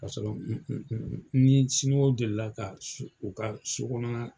Ka sɔrɔ n ni siniwaw delila ka u ka so kɔnɔna.